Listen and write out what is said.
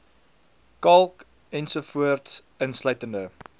kalk ens insluitende